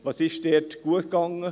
Was ist dort gut gegangen?